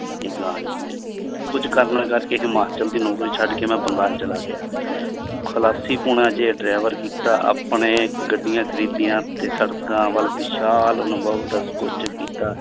ਇਹ ਗਾਂ ਹੀ ਹੈ ਕੁੱਝ ਕਾਰਨਾਂ ਕਰਕੇ ਹਿਮਾਚਲ ਦੀ ਨੌਕਰੀ ਛੱਡ ਕੇ ਮੈਂ ਬੰਗਾਲ ਚਲਾ ਗਿਆ ਖੁਲਾਸੀ ਪੁਣਾ ਜਿਹਾ driver ਕੀਤਾ ਆਪਣੇ ਗੱਡੀਆਂ ਖ਼ਰੀਦੀਆਂ ਤੇ ਸੜਕਾਂ ਵੱਲ ਵਿਸ਼ਾਲ ਅਨੁਭਵ ਦਾ ਕੀਤਾ।